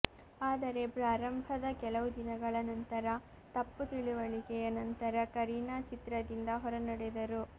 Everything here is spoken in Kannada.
ಆದರೆ ಪ್ರಾರಂಭದ ಕೆಲವು ದಿನಗಳ ನಂತರ ತಪ್ಪು ತಿಳುವಳಿಕೆಯ ನಂತರ ಕರೀನಾ ಚಿತ್ರದಿಂದ ಹೊರನಡೆದರು